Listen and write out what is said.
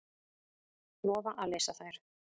Lofa að lesa þær.